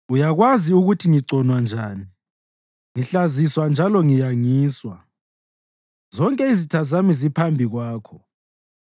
Uyakwazi ukuthi ngigconwa njani, ngihlaziswa njalo ngiyangiswa; zonke izitha zami ziphambi kwakho.